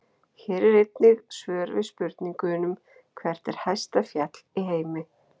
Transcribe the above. Hér er einnig svör við spurningunum: Hvert er hæsta fjall í heimi?